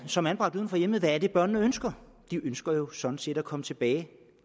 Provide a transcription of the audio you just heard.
som er anbragt uden for hjemmet hvad er det børnene ønsker de ønsker sådan set at komme tilbage